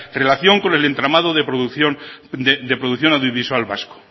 relación con el entramado de producción audiovisual en